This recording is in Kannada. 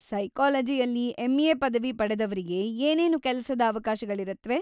ಸೈಕಾಲಜಿಯಲ್ಲಿ ಎಂ.ಎ. ಪದವಿ ಪಡೆದವ್ರಿಗೆ ಏನೇನು ಕೆಲಸದ ಅವಕಾಶಗಳಿರತ್ವೆ?